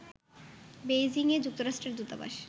Beijing এ যুক্তরাষ্ট্রের দূতাবাস